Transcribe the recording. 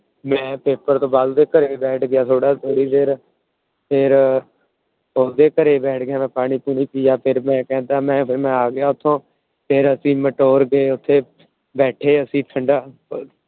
ਮੈ ਦੇ ਘਰੇ ਬੈਠ ਗਿਆ ਥੋੜੀ ਦੇਰ। ਫੇਰ ਓਂਦੇ ਘਰੇ ਬੈਠ ਕੇ ਮੈ ਪਾਣੀ ਪੁਨਿ ਪਿਆ। ਕਹਿੰਦਾ ਮੈ ਆ ਗਿਆ ਉੱਥੋਂ ਫੇਰ ਅਸੀਂ ਗਏ। ਉੱਥੇ ਬੈਠੇ ਅਸੀਂ ਠੰਡਾ